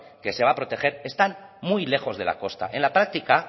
que se va a proteger están muy lejos de la costa en la práctica